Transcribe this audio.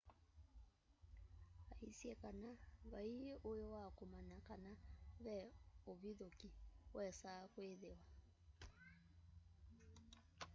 aisye kana vaĩi ũĩ wa kũmanya kana ve ũvithũkĩ wesaa kwĩthĩwa